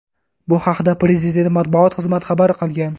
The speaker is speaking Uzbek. Bu haqda Prezident matbuot xizmat xabar qilgan .